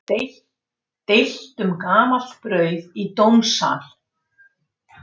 Deilt um gamalt brauð í dómssal